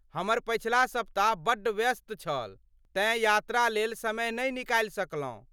हमर पछिला सप्ताह बड्ड व्यस्त छल तेँ यात्रा लेल समय नहि निकालि सकलौं।